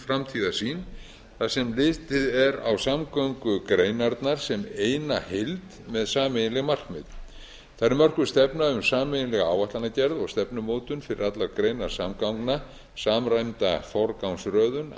framtíðarsýn þar sem litið er á samgöngugreinarnar sem eina heild með sameiginleg markmið þar er mörkuð stefna um sameiginlega áætlanagerð og stefnumótun fyrir allar greinar samgangna samræmda forgangsröðun